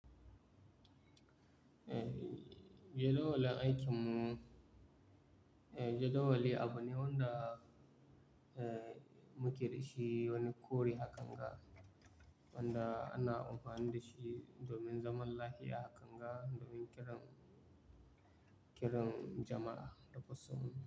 Eh, jadawalin aikinmu jadawali abu ne wanda muke da shi wani kore hakan ga wanda ana amfani da shi domin zaman lafiya hakan ga domin kiran, kiran jama'a da kusan.